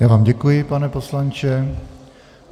Já vám děkuji, pane poslanče.